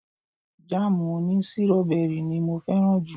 Jáàmù òní sírọ́bẹrì ni mo fẹ́ràn jù